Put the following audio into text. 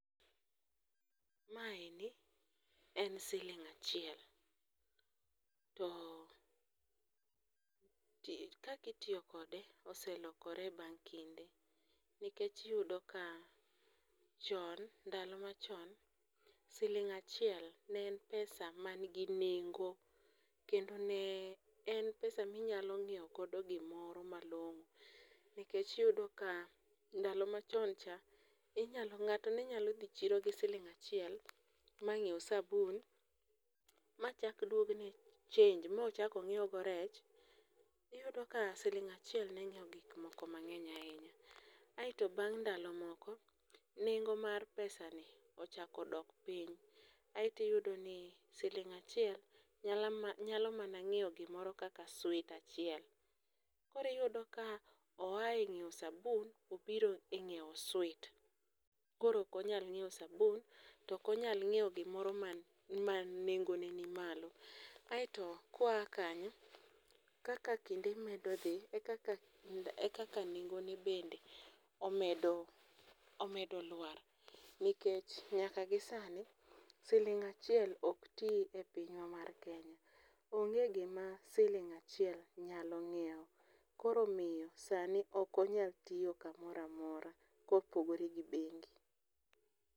Maendi en siling' achiel, to kaka itiyo kode oselokore bang' kinde nikech iyudo ka chon, ndalo machon, siling' achiel ne en pesa manigi nengo kendo ne en pesa minyalo ng'iewo godo gimoro malong'o ,nikech iyudo ka ndalo machon cha, ng'ato ne nyalo dhi chiro gi siling' achiel, mang'iew sabun machak dwok ne change mochak ong'iew go rech. iyudo ka siling' achiel ne nyiewo gik moko mang'eny ahinya. Aeto bang' ndalo moko, nengo mar pesani ochako dok piny, aeto iyudo ni siling' achiel nyalo mana ng'iewo gimoro kaka sweet achiel. Koro iyudo ka oa e ng'iewo sabun ,obiro e ng'iewo sweet, koro ok onyal ng'iewo sabun, to ok onyal ng'iewo gimoro ma nengone ni malo. Aeto kwa kanyo, kaka kinde medo dhi,e kaka nengone bende, omedo lwar, nikech nyaka gisani, siling' achiel ok ti e pinywa mar Kenya. Onge gima siling' achiel nyalo ng'iewo, koro omiyo sani ok onyal tiyo kamoro amora kopogore gi bengi.